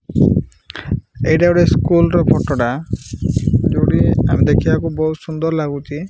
ଏଇଟା ଗୋଟିଏ ସ୍କୁଲ ର ଫଟ ଟା ଯୋଡିଏ ଦେଖିବାକୁ ବୋହୁତ୍ ସୁନ୍ଦର୍ ଲାଗୁଚି।